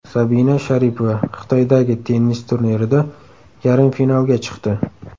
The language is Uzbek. Sabina Sharipova Xitoydagi tennis turnirida yarim finalga chiqdi.